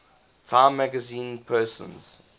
time magazine persons